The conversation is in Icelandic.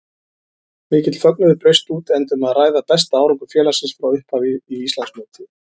Mikill fögnuður braust út enda um að ræða besta árangur félagsins frá upphafi í Íslandsmóti.